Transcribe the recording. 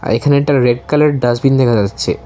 এখানে একটা রেড কালারের ডাস্টবিন দেখা যাচ্ছে।